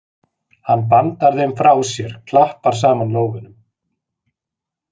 Hann bandar þeim frá sér, klappar saman lófunum.